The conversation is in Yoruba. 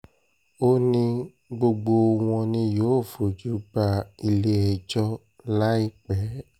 ó ní gbogbo wọn ni yóò fojú ba ilé-ẹjọ́ láìpẹ́